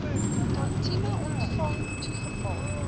tantième ontvang toegeval